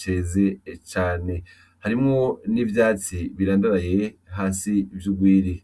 ceze cane harimwo n'ivyatsi birandaraye hasi vy'urwiri